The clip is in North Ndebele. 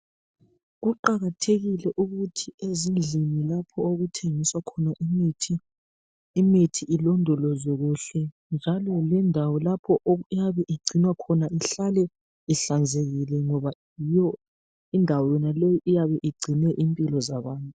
Kuqakathekile ukuthi ezindlini lapho okuthengiswa khona imithi, imithi ilondolozwe kuhle njalo lendawo lapho eyebe igcinwa khona ihlale ihlanzekile ngoba yiyo indawo yonaleyi eyabe igcine impilo zabantu.